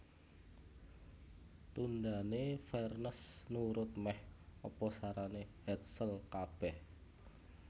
Tundhané Vernes nurut mèh apa sarané Hetzel kabèh